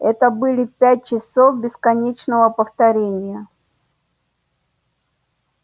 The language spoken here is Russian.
это были пять часов бесконечного повторения